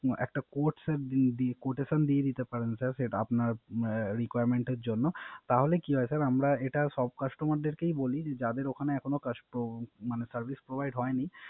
একটা Quotation দিয়ে দিতে পারেন স্যার সেটা আপনার requirement এর জন্য তাহলে কি হয় স্যার আমরা এটা সব কাস্টমারদেরকেই বলি যাদের ওখানে এখনো Service provide হয় নি